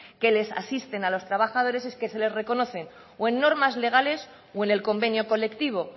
que les asisten a los trabajadores y que se les reconoce o en normas legales o en el convenio colectivo